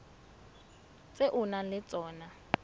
tse o nang le tsona